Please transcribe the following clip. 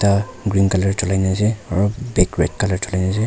ekta green colour cholai kini ase aru bag red colour cholai kini ase.